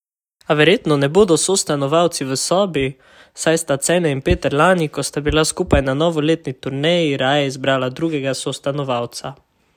A verjetno ne bodo sostanovalci v sobi, saj sta Cene in Peter lani, ko sta bila skupaj na novoletni turneji, raje izbrala drugega sostanovalca.